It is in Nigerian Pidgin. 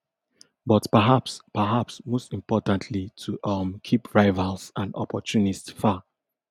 but perhaps perhaps most importantly to um keep rivals and opportunists far